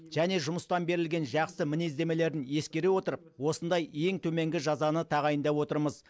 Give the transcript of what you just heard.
және жұмыстан берілген жақсы мінездемелерін ескере отырып осындай ең төменгі жазаны тағайындап отырмыз